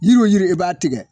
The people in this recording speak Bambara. Yiri o yiri i b'a tigɛ